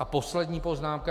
A poslední poznámka.